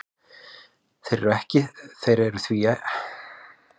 Þeir eru því mjög virkir og finnast ekki óbundnir í náttúrunni.